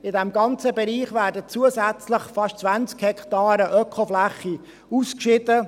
In diesem ganzen Bereich werden zusätzlich fast 20 Hektaren Ökofläche ausgeschieden.